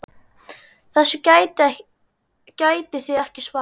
Þessu getið þið ekki svarað!